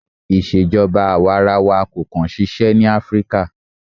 Ìṣèjọba àwarawa kò kàn ṣiṣẹ́ ní Áfríkà.